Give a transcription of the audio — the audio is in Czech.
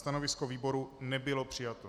Stanovisko výboru nebylo přijato.